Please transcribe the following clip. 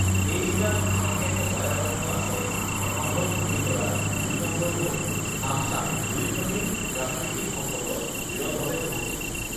এই জিলাত ugh দুখনকে অভয়াৰণ্য আছে এখন হ'ল পবিতৰা দুই নম্বৰ হ'ল আমচাং ugh দুইখনেই প্ৰাকৃতিক সম্পদত বিৰলভাৱে চহকী